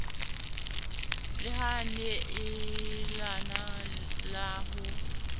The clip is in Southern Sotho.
la ho neelana la ho